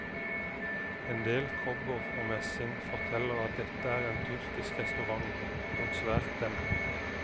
Endel kobber og messing forteller at dette er en tyrkisk restaurant, dog svært dempet.